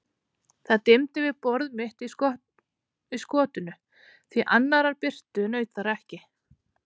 Það dimmdi við borð mitt í skotinu, því annarrar birtu naut þar ekki.